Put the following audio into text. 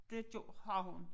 Det gjorde har hun